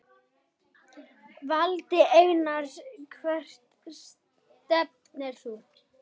Valdi Einars Hvert stefnir þú?